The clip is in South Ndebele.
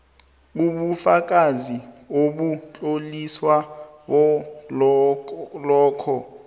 ubufakazi obutloliweko balokho